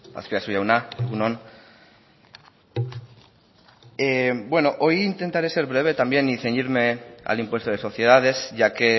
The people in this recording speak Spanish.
azpiazu jauna egun on bueno hoy intentaré ser breve y ceñirme al impuesto de sociedades ya que